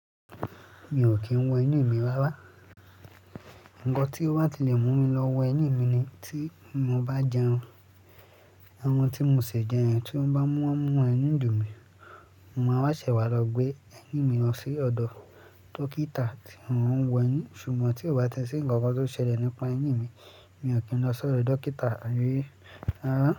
Mi ò kí ń wọ ẹyin mi rara. Ǹkan tí ó bá ti lè mú mi lọ wọ ẹyin mi ni tí mo bá jẹun. Ẹran tí mo ṣe jẹ yen tí ó bá mú ẹnú dùn mi, mo máa wá ṣẹ wá lọ gbé ẹyín mi lọ sí ọ̀dọ̀ dókítà tí wọn wọ ẹyin. Ṣùgbọ́n tí ó bá ti ṣi ǹkan kan tó ṣẹlẹ̀ nípa ẹyin mi, mi ò kí ń lọ sọ́rò dókítà rí. Àárín.